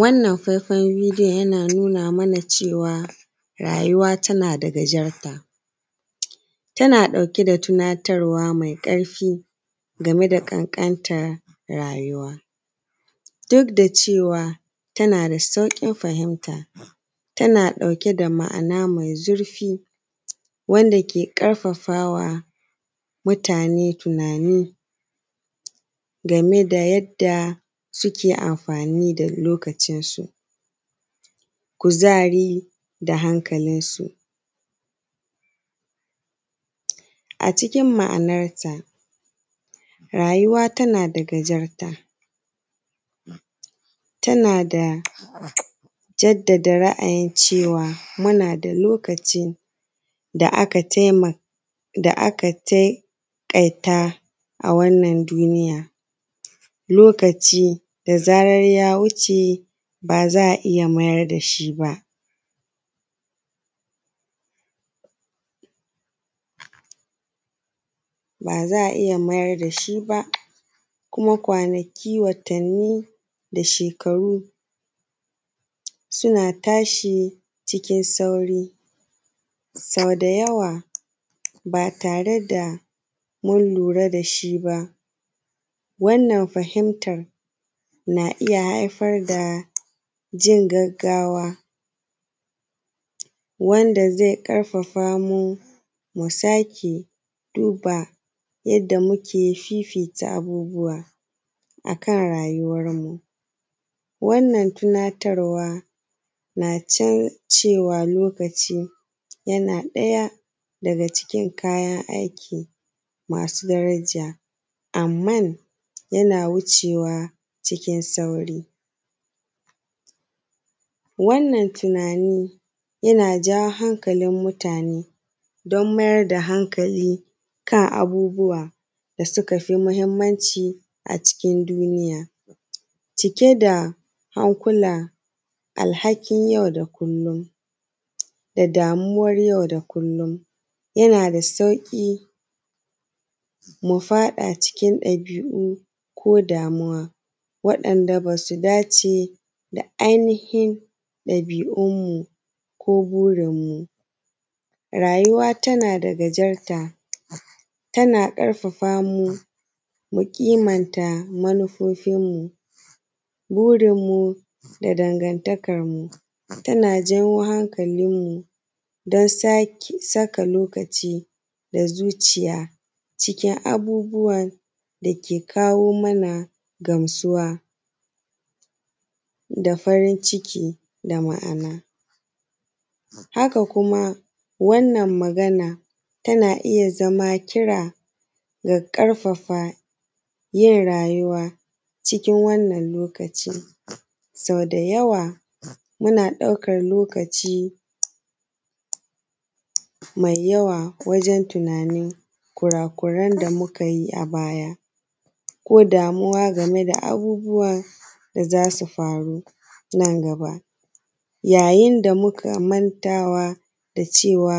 Wannan faifan bidiyon yana nuna mana cewa rayuwa tana da gajarta, tana ɗauke da tunatarwa mai ƙarfi game da ƙanƙantar rayuwa. Duk da cewa tana da sauƙin fahimta, tana ɗauke da ma’ana mai zurfi wanda ke ƙarfafawa mutane tunani game da yanda suke amfani da lokacin su, kuzari, da hankalin su. A cikin ma’anarta rayuwa tana da gajarta, tana da jaddada ra’ayin cewa muna da lokaci da aka taƙaita a wannan duniya. Lokaci da zarar ya wuce ba za a iya mayar da shi ba, kuma kwanaki, watanni, da shekaru suna tashi cikin sauri. Sau da yawa ba tare da mun lura da shi ba. Wannan fahimtar na iya haifar da jin gaggawa wanda zai iya ƙarfafa mu sake duba yanda muke fifita abubuwa akan rayuwan mu. Wannan tunatarwa na can cewa lokaci yana ɗaya daga cikin kayan aiki masu daraja. Amman yana wucewa cikin sauri. Wannan tunani yana jawo hankalin mutane don mayar da hankali kan abubuwa da suka fi muhimmanci a cikin duniya cike da hankula alhakin yau da kullum da damuwar yau da kullum yana da sauƙi mu faɗa cikin ɗabi’u ko damuwa waɗanda ba su dace da ainihin ɗabi’un mu ko burin mu. Rayuwa tana da gajarta, tana ƙarfafa mu mukimanta manufofin mu, burin mu da dangantakan mu tana janyo hankalin mu don saka lokaci da zuciya cikin abubuwan dake kawo mana gamsuwa da farin ciki da ma’ana. Haka kuma wannan magana tana iya zama kira da ƙarfafa yin rayuwa cikin wannan lokacin sau da yawa muna ɗaukan lokaci mai yawa wajan tunanin kurakuren da mu kayi a baya, ko damuwa game da abubuwan da zasu faru nan gaba. Yayin da muka mantawa da cewa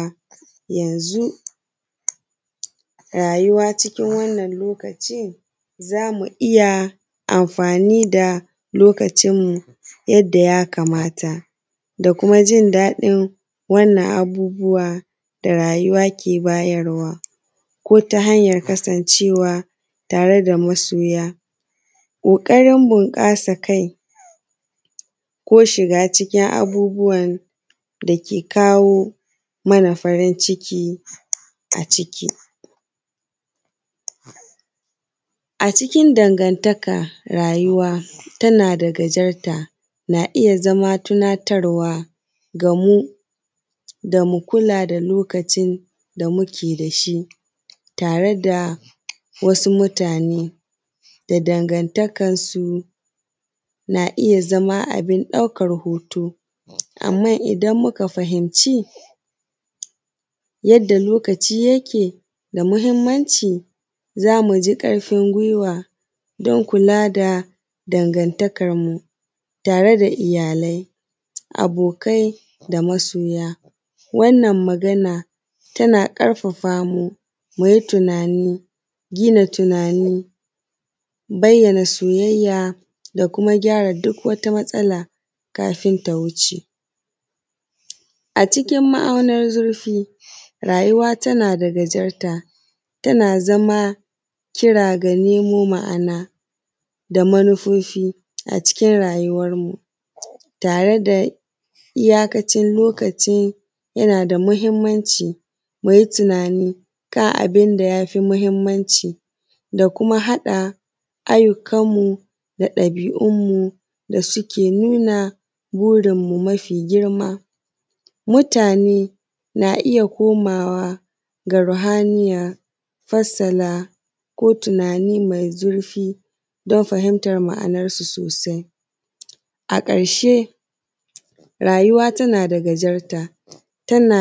yanzu rayuwa cikin wannan lokaci zamu iya amfani da lokacin mu yanda ya kamata da kuma jindaɗin wannan abubuwa da rayuwa ke bayarwa ko ta hanyan cewa tare da masoya ƙoƙarin bunƙasa kai, ko shiga cikin abubuwan da ke kawo mana farin ciki a ciki. A cikin dangantakan rayuwa tana da gajarta na iya zama tunatarwa gamu damu kula da lokacin da muke da shi tare da wasu mutane da dangantakan su na iya zama abin ɗaukan hoto. Amman idan muka fahimci yanda lokaci yake da muhimmanci za mu ji ƙarfin guiwa don kula da dangantakan mu tare da iyalai, abokai, da masoya. Wannan magana tana ƙarfafa mu mu yi tunani, gina tunani bayyana soyayya, da kuma gyara duk wata matsala kafin ta wuce. A cikin ma’aunar zurfi rayuwa tana da gajarta tana zama kira ga nemo ma’ana da manufofi a cikin rayuwan mu tared a iyakacin lokacin yana da muhimmanci, ka yi tunani kan abun da ya fi muhimmanci da kuma haɗa ayyukan mu, da ɗabi’un mu da suke nuna burin mu mafi girma. Mutane na iya komawa ga ruhaniya farsala ko tunani mai zurfi don fahimtar ma’anan su sosai a ƙarshe rayuwa tana da gajarta tana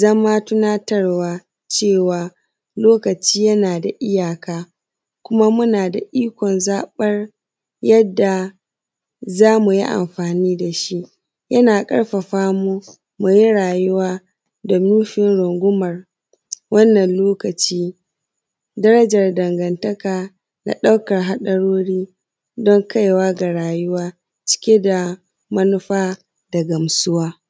zama tunatarwa cewa lokaci yana da iyaka kuma muna da ikon zaɓar yadda za muyi amfani da shi yana ƙarfafa mu mu yi rayuwa domin mu rungumar wannan lokaci darajar dangantaka da ɗaukan haɗarori kai wa ga rayuwa cike da manufa da gamsuwa.